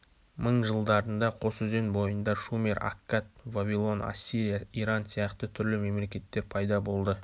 мың жылдарында қос өзен бойында шумер аккат вавилон ассирия иран сиякты түрлі мемлекеттер пайда болды